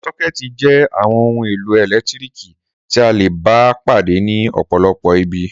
Sọ́kẹ́tì jẹ́ àwọn ohun-èlò ẹ̀lẹ́tíríkì tí a le bá pàdé ní ọ̀pọ̀lọpọ̀ ibi.